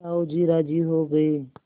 साहु जी राजी हो गये